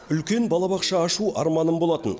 үлкен балабақша ашу арманым болатын